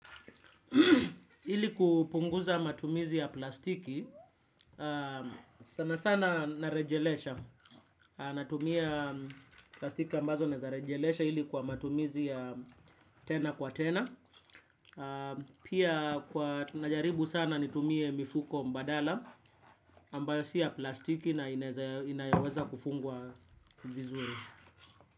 Ili kupunguza matumizi ya plastiki, sana sana narejelesha, natumia plastiki ambazo nezarejelesha hili kwa matumizi ya tena kwa tena, pia kwa najaribu sana nitumie mifuko mbadala ambayo siya plastiki na inayaweza kufungwa vizuri.